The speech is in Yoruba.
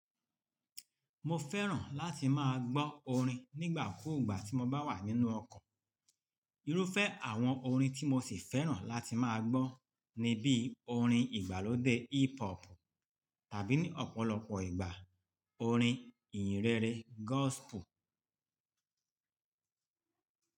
Mo fẹ́ràn láti máa gbọ́ orin nígbà kúùgbà tí mo bá wà nínú ọkọ̀. Irúfẹ́ àwọn orin tí mo sì fẹ́ràn láti máa gbọ́ ni bí orin ìgbàlódé hip hop tàbí ní ọ̀pọ̀lọpọ̀ ìgbà orin ìyìnrere gospel.